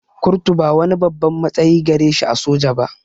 Kurtu ba wani babban matsayi gare shi a soja ba